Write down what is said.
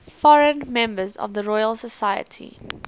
foreign members of the royal society